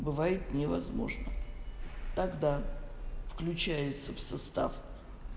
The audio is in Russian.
бывает невозможно тогда включается в состав